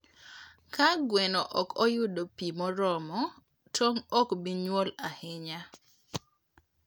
Ka gweno ok oyudo pi moromo, tong' ok bi nyuol ahinya.